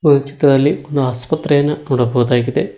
ಈ ಚಿತ್ರದಲ್ಲಿ ಒಂದು ಆಸ್ಪತ್ರೆಯನ್ನ ನೋಡಬಹುದಾಗಿದೆ.